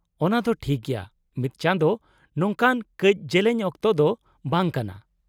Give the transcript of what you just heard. -ᱚᱱᱟ ᱫᱚ ᱴᱷᱤᱠ ᱜᱮᱭᱟ, ᱢᱤᱫ ᱪᱟᱸᱫᱳ ᱱᱚᱝᱠᱟᱱ ᱠᱟᱹᱪ ᱡᱮᱞᱮᱧ ᱚᱠᱛᱚ ᱫᱚ ᱵᱟᱝ ᱠᱟᱱᱟ ᱾